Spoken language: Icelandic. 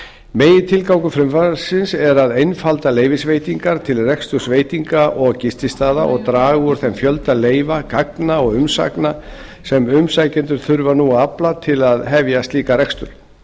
megintilgangur frumvarpsins er að einfalda leyfisveitingar til reksturs veitinga og gististaða og draga úr þeim fjölda leyfa gagna og umsagna sem umsækjendur þurfa nú að afla til að hefja slíkan rekstur